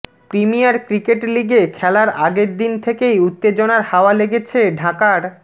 premier cricket লিগে খেলার আগের দিন থেকেই উত্তেজনার হাওয়া লেগেছে ঢাকার